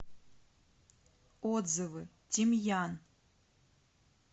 отзывы тимьян